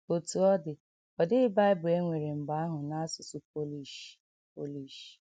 Otú ọ dị, ọ dịghị Bible e nwere mgbe ahụ n’asụsụ Polish Polish.